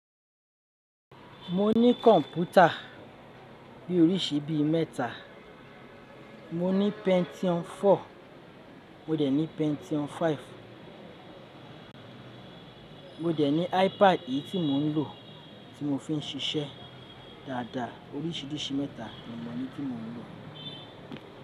Mo ní kọ̀npútà bí oríṣi bí i mẹ́ta, mo ní Pentium 4, mo dẹ̀ ní Pentium 5, mo dẹ̀ ní iPad yìí tí mò ń lò, tí mo fi ń ṣiṣẹ́ dáadáa. Oríṣìíríṣìí mẹ́ta ni mo ní tí mò ń lò.